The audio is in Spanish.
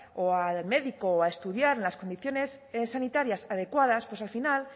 o al médico o a estudiar en las condiciones sanitarias adecuadas pues al final